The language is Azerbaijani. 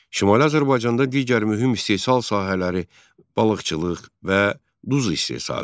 Şimali Azərbaycanda digər mühüm istehsal sahələri balıqçılıq və duz istehsalı idi.